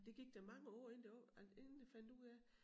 Det gik der mange år inden det var at inden det fandt ud af